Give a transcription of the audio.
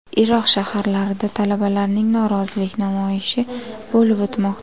Iroq shaharlarida talabalarning norozilik namoyishi bo‘lib o‘tmoqda.